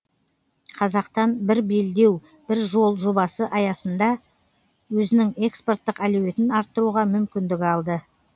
қазақтан бір белдеу бір жол жобасы аясында өзінің экспорттық әлеуетін арттыруға мүмкіндік алды